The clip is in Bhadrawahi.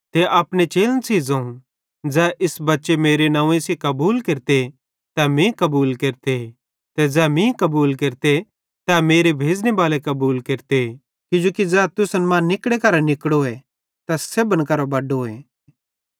ते अपने चेलन सेइं ज़ोवं ज़ै इस बच्चे मेरे नंव्वे सेइं कबूल केरते तै मीं कबूल केरते ते ज़ै मीं कबूल केरते तै मेरे भेज़ने बाले कबूल केरते किजोकि ज़ै तुसन मां निकड़े करां निकड़ोए तै सेब्भन करां बड्डोए